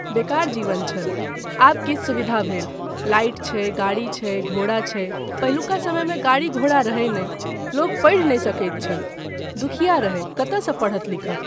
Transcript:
बेकार जीवन छल, आब किछु सुविधा भेल, लाइट छै, गाड़ी छै, घोड़ा छै, पहिलुका समयमे गाड़ी घोड़ा रहय नहि, लोक पढ़ि नहि सकैत छल, दुखिया रहय कतयसँ पढ़त लिखत।